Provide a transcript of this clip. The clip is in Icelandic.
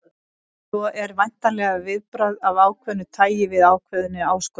Svar er væntanlega viðbragð af ákveðnu tæi við ákveðinni áskorun.